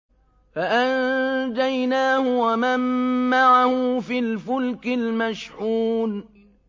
فَأَنجَيْنَاهُ وَمَن مَّعَهُ فِي الْفُلْكِ الْمَشْحُونِ